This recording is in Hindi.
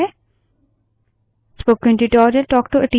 यह मुझे इस tutorial की समाप्ति की ओर लाता है